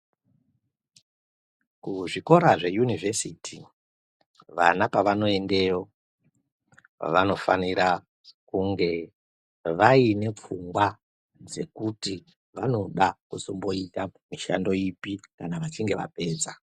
Kuzvikora zveyunivhesiti vana pavanoendeyo vanofanira kunge vaine pfungwa dzekuti vanoda kuzomboita mishando ipi kana vachinge vapedza.